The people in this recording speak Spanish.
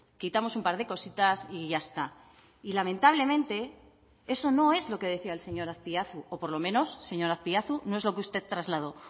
quitamos un par de cositas y ya está y lamentablemente eso no es lo que decía el señor azpiazu o por lo menos señor azpiazu no es lo que usted trasladó